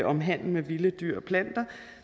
om handel med vilde dyr og planter